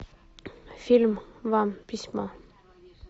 фильм вам письмо